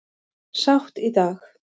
Sátt í dag